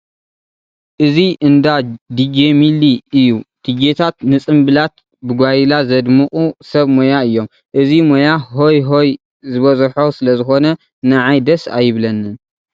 እዚ እንዳ ዲጄ ሚሊ እዩ፡፡ ዲጄታት ንፅምብላት ብጓይላ ዘድምቑ ሰብ ሞያ እዮም፡፡ እዚ ሞያ ሆይ ሆይ ዝበዝሖ ስለዝኾነ ንዓይ ደስ ኣይብለንን፡፡